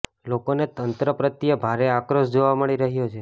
લોકોનો તંત્ર પ્રત્યે ભારે આક્રોશ જોવા મળી રહ્યો છે